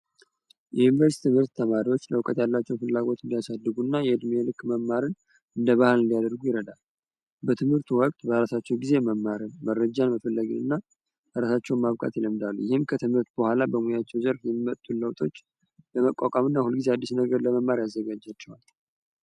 የዩኒቨርስ ትምህርት ተማሪዎች ለውቀት ያላቸው ፍላጎት እንዲያሳድጉ እና የእድሜልክ መማርን እንደባህን እንዲያደርጉ ይረዳል በትምህርቱ ወቅት በአራሳቸው ጊዜ መማርን መረጃን መፈላጊን እና አራሳቸው ማብጋት የለምዳሉ ይህም ከትምህርት በኋላ በሙያቸው ዘርፍ የመጡለውጦች በመቋቋም እና ሁል ጊዜ አዲስ ነገር ለመማር ያዘጋጃቸዋል፡፡